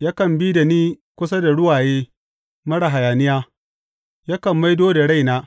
yakan bi da ni kusa da ruwaye marar hayaniya, yakan maido da raina.